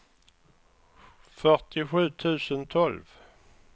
fyrtiosju tusen tolv